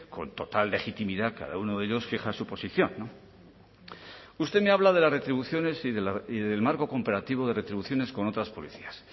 con total legitimidad cada uno de ellos fija su posición usted me habla de las retribuciones y del marco comparativo de retribuciones con otras policías